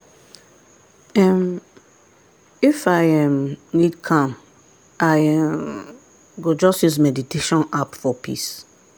um if i um need calm i um go just use meditation app for peace.